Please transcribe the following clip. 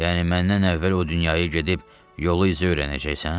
Yəni məndən əvvəl o dünyaya gedib yolu izə öyrənəcəksən?